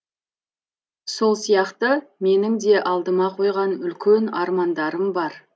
сол сияқты менің де алдыма қойған үлкен армандарым бар